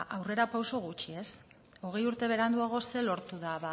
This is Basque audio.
aurrera pausu gutxi hogei urte beranduago zer lortu da